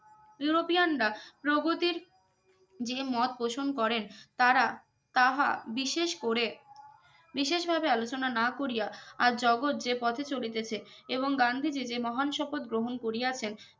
ইউরোপিয়ানরা প্রগতির যে মত পোষণ করেন তারা তাহা বিশেষ করে বিশেষ ভাবে আলোচনা না করিয়া আর জাগত যে পথে চলিতেছে এবং গান্ধীজি যে মহান শপথ গ্রহন করিয়াছেন